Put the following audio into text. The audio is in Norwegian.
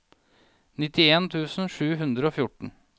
nittien tusen sju hundre og fjorten